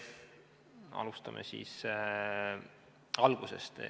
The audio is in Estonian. Alustame siis algusest.